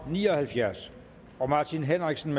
ni og halvfjerds martin henriksen